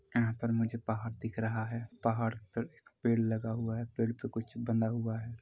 यहाँ पर मुझे पहाड़ दिख रहा है पहाड़ पर एक पेड़ लगा हुआ है पेड़ पे कुछ बंधा हुआ है।